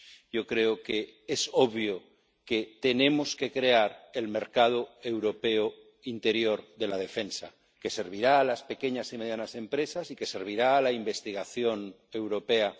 Yo creo que es obvio que tenemos que crear el mercado europeo interior de la defensa, que servirá a las pequeñas y medianas empresas y que servirá a la investigación europea.